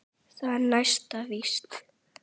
Það er næsta víst.